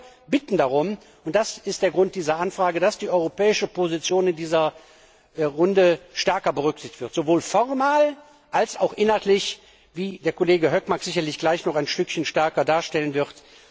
Wir bitten darum und das ist der Grund dieser Anfrage dass die europäische Position in dieser Runde stärker berücksichtigt wird, sowohl formal als auch inhaltlich, wie der Kollege Hökmark sicherlich gleich noch etwas detaillierter darstellen wird.